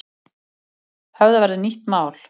Höfða verður nýtt mál